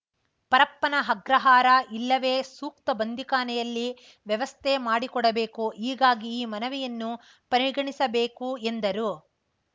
ಪರಪ್ಪನ ಅಗ್ರಹಾರ ಇಲ್ಲವೇ ಸೂಕ್ತ ಬಂದೀಖಾನೆಯಲ್ಲಿ ವ್ಯವಸ್ಥೆ ಮಾಡಿಕೊಡಬೇಕು ಹೀಗಾಗಿ ಈ ಮನವಿಯನ್ನು ಪರಿಗಣಿಸಬೇಕು ಎಂದರು